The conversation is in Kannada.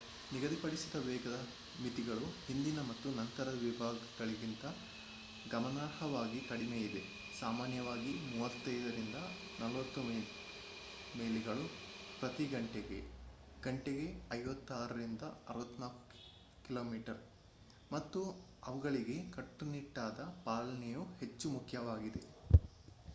ನಿಗದಿಪಡಿಸಿದ ವೇಗದ ಮಿತಿಗಳು ಹಿಂದಿನ ಮತ್ತು ನಂತರದ ವಿಭಾಗಗಳಿಗಿಂತ ಗಮನಾರ್ಹವಾಗಿ ಕಡಿಮೆಯಿದೆ - ಸಾಮಾನ್ಯವಾಗಿ 35-40 ಮೈಲಿಗಳು ಪ್ರತಿ ಘಂಟೆಗೆ ಗಂಟೆಗೆ 56-64 ಕಿಮೀ - ಮತ್ತು ಅವುಗಳಿಗೆ ಕಟ್ಟುನಿಟ್ಟಾದ ಪಾಲನೆಯು ಹೆಚ್ಚು ಮುಖ್ಯವಾಗಿದೆ